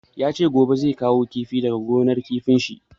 Ya ce gobe zai kawo kifi daga gonar kifin shi.